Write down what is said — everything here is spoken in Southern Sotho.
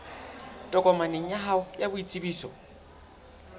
tokomaneng ya hao ya boitsebiso